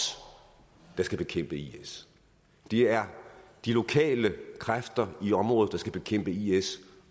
der skal bekæmpe is det er de lokale kræfter i området der skal bekæmpe is